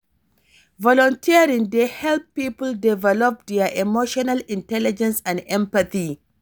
Volunteering dey help people develop dia emotional intelligence and empathy.